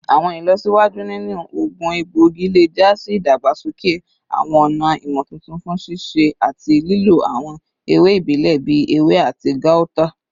Awọn ilọsiwaju ninu oogun egboigi le ja si idagbasoke awọn ọna imotuntun fun sisẹ ati lilo awọn ewe ibile bii ewe ati gauta